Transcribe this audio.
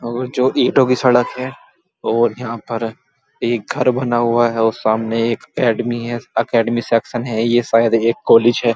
और जोकि ईटों की सड़क है और यहाँ पर एक घर बना हुआ है और सामने एक एकडेमिक है। एकडेमिक सेक्शन है। ये शायद ये एक कॉलेज है।